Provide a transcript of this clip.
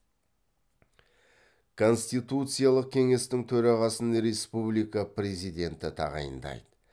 конституциялық кеңестің төрағасын республика президенті тағайындайды